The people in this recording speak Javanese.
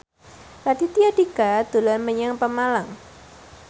Raditya Dika dolan menyang Pemalang